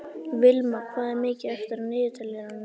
Vilma, hvað er mikið eftir af niðurteljaranum?